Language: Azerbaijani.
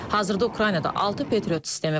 Hazırda Ukraynada altı Patriot sistemi var.